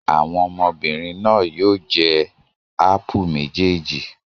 Àwọn ọmọbìnrin náà yóò jẹ ápù méjèèjì.